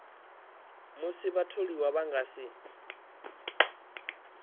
musi vhatholiwa vha nga si